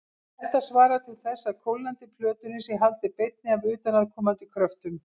Þetta svarar til þess að kólnandi plötunni sé haldið beinni af utanaðkomandi kröftum.